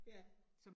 Ja